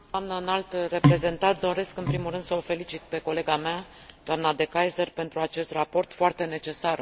Doresc, în primul rând, să o felicit pe colega mea, dna De Keyser, pentru acest raport, foarte necesar în contextul actual.